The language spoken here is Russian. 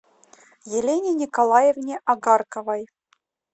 елене николаевне агарковой